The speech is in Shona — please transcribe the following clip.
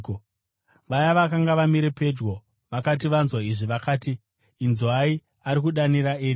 Vaya vakanga vamire pedyo vakati vanzwa izvi, vakati, “Inzwai, ari kudana Eria.”